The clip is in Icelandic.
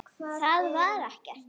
Það var ekkert.